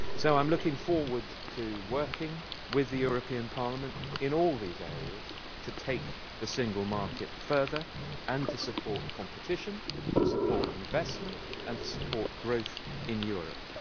I am looking forward to working with the European Parliament in all these areas to take the single market further and to support competition, to support investment and to support growth in Europe.